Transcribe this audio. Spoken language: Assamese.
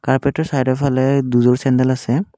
কাৰ্পেটৰ চাইডৰ ফালে দুযোৰ চেণ্ডেল আছে।